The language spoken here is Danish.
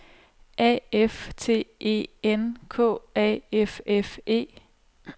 A F T E N K A F F E